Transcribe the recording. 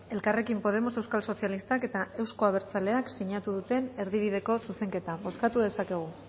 elkarrekin podemos euskal sozialistak eta euzko abertzaleak sinatu dute erdibideko zuzenketa bozkatu dezakegu